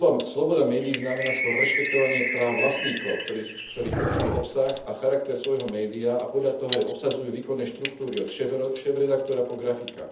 Sloboda médií znamená skôr rešpektovanie práv vlastníkov, ktorí určujú obsah a charakter svojho média a podľa toho aj obsadzujú výkonné štruktúry, od šéfredaktora po grafika.